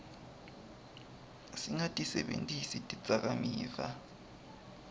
singatisebentisi tidzakamiva